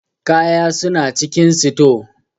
Ƙaya suna cikin sito.